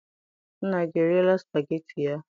Nna gị eriela supageti ya?